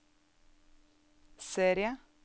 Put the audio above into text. serie